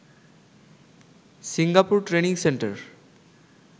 Singapore training centre